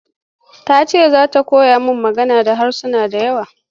Ta ce za ta koyi magana da harasa da yawa.